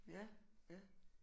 Ja ja